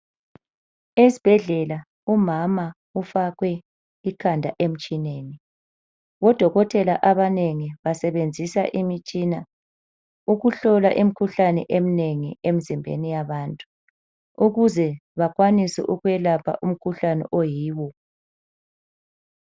Esibhedlela umama ufakwe ikhanda emtshineni, odokotela abanengi basebenzisa imtshina ukuhlola imkhuhlane emnengi emzimbeni yabantu ukuze bakwanise ukwelapha umkhuhlane oyiwo.